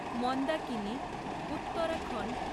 Mandakini Uttarakhand